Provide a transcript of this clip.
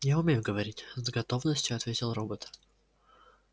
я умею говорить с готовностью ответил робот